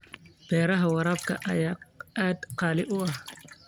Beeraha waraabka ayaa aad qaali u ah.